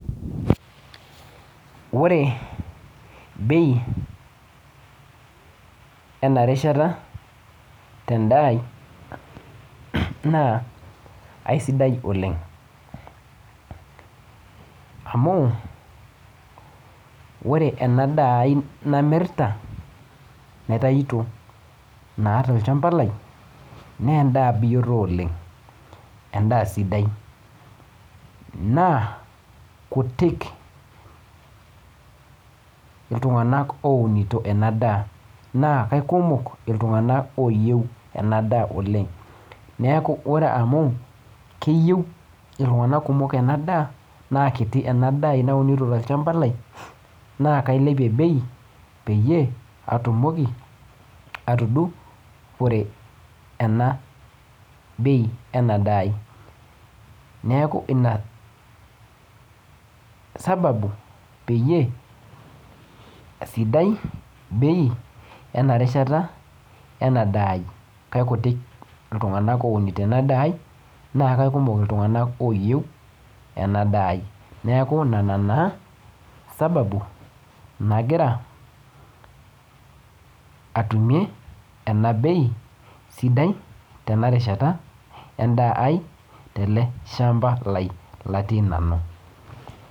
Ore bei ena rishata tendaa ai naa aisidai oleng amu ore ena daa ai namirrta naitaito naa tolchamba lai naa endaa biyioto oleng endaa sidai naa kutik iltung'anak ounito ena daa naa kaikumok iltung'anak oyieu ena daa oleng neku ore amu keyieu iltung'anak kumok ena daa naa kiti ena daa ai naunito tolchamba lai naa kailepie bei peyie atumoki atudu pore ena bei ena daa ai neeku ina sababu peyie sidai bei ena rishata ena daa ai kaikutik iltung'ank ounito ena daa ai naa kaikumok iltung'anak oyieu ena daa ai neku nana naa sababu nagira atumie ena bei sidai tena rishata endaa ai tele shamba lai latii nanu.